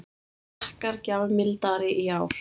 Frakkar gjafmildari í ár